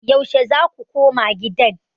Yaushe za ku koma gidan?